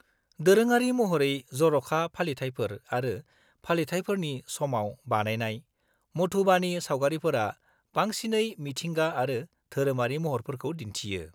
-दोरोङारि महरै जर'खा फालिथायफोर आरो फालिथायफोरनि समाव बानायनाय, मधुबानि सावगारिफोरा बांसिनै मिथिंगा आरो धोरोमारि महरफोरखौ दिन्थियो।